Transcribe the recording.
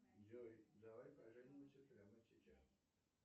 джой давай поженимся прямо сейчас